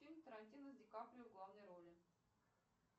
фильм тарантино с ди каприо в главной роли